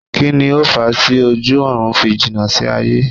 Kíni o fa tí ojú ọ̀run fi jìnà sí aye?